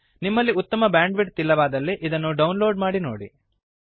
ನಿಮಲ್ಲಿ ಉತ್ತಮ ಬ್ಯಾಂಡ್ವಿಡ್ತ್ ಇಲ್ಲವಾದಲ್ಲಿ ಇದನ್ನು ಡೌನ್ ಲೋಡ್ ಮಾಡಿ ನೋಡಿ